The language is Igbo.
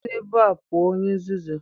Si n'ebe a pụọ, onye nzuzu.